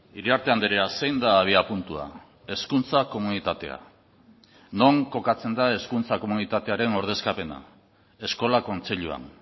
iriarte andrea zein da abiapuntua hezkuntza komunitatea non kokatzen da hezkuntza komunitatearen ordezkapena eskola kontseiluan